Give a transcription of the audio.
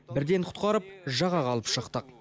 бірден құтқарып жағаға алып шықтық